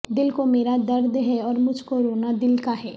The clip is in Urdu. دل کو میرا درد ہے اور مجھ کو رونا دل کا ہے